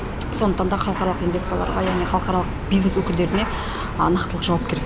сондықтан да халықаралық инвесторларға яғни халықаралық бизнес өкілдеріне нақтылық жауап керек